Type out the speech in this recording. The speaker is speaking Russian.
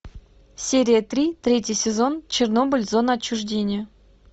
серия три третий сезон чернобыль зона отчуждения